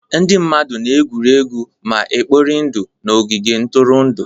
Ndị mmadụ na-egwuri egwu ma kporie ndụ n'ogige ntụrụndụ.